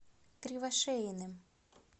кривошеиным